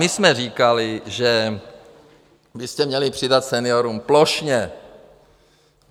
My jsme říkali, že byste měli přidat seniorům plošně.